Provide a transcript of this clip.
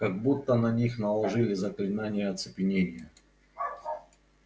как будто на них наложили заклинание оцепенения